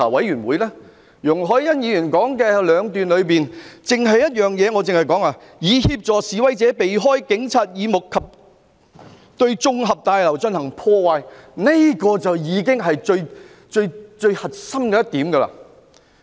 容海恩議員的議案中有兩段描述，其中第一段提到"以協助示威者避開警察耳目及對綜合大樓進行破壞"，這已是最核心的一點。